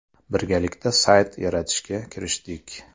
Birgalikda sayt yaratishga kirishdik.